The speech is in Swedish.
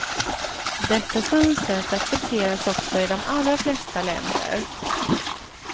Detta synsätt accepteras också i de allra flesta länder.